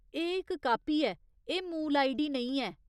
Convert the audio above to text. एह् इक कापी ऐ, एह् मूल आईडी नेईं ऐ।